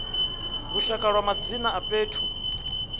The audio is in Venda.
lushaka ya madzina a fhethu